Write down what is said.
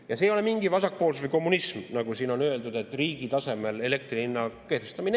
Ja see ei ole mingi vasakpoolsus või kommunism, nagu siin on öeldud, et riigi tasemel elektri hinna kehtestamine.